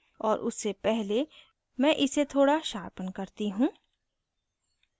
और उससे पहले मैं इसे थोड़ा sharpen करती हूँ